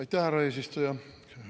Aitäh, härra eesistuja!